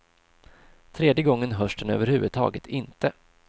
Tredje gången hörs den över huvud taget inte.